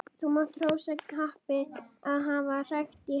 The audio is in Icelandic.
Þú mátt hrósa happi að hafa krækt í hana.